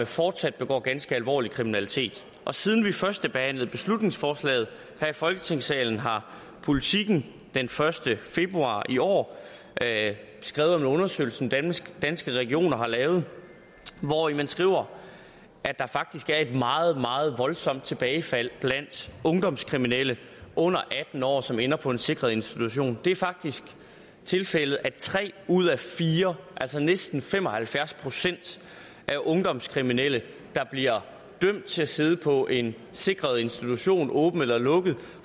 fortsat begår ganske alvorlig kriminalitet og siden vi førstebehandlede beslutningsforslaget her i folketingssalen har politiken den første februar i år skrevet om en undersøgelse som danske danske regioner har lavet hvori man skriver at der faktisk er et meget meget voldsomt tilbagefald blandt ungdomskriminelle under atten år som ender på en sikret institution det er faktisk tilfældet at tre ud af fire altså næsten fem og halvfjerds procent af ungdomskriminelle der bliver dømt til at sidde på en sikret institution åben eller lukket